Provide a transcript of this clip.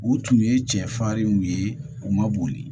U tun ye cɛ farin u ye u ma boli